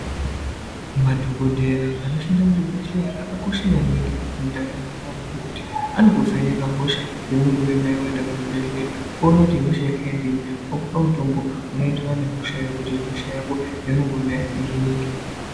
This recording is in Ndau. Madhogodheya anoshanda muzvibhedhleya akakosha maningi, mundaramo yeanhu ngekuti, anokuvheneka hosha yaunenge unayo waenda kuchibhedhleya ,oona kuti ihosha yekhaindiyi ,okupa mutombo unoenderana nehoshayo, kuti hosha yako, yaunenge uinayo ihinike.